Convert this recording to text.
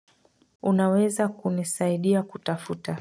Unaweza kunisaidia kutafuta.